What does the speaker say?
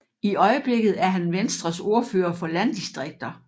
I øjeblikket er han Venstres ordfører for landdistrikter